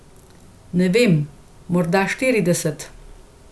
Ne vem, morda štirideset ...